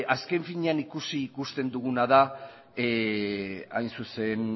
azken finean ikusi ikusten duguna da hain zuzen